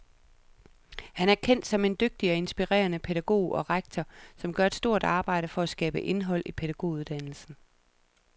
Han er kendt som en dygtig og inspirerende pædagog og rektor, som gør et stort arbejde for at skabe indhold i pædagoguddannelsen.